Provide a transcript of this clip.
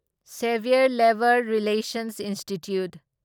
severe labour relations institute